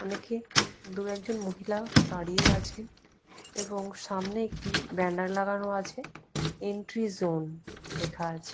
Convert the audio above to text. অনেকে দুই একজন মহিলা দাঁড়িয়ে রয়েছে এবং সামনে একটি ব্যানার লাগানো আছে এন্ট্রিজোন লেখা আছে।